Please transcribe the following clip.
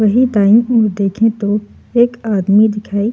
वही दायीं ओर देखे तो एक आदमी दिखाई --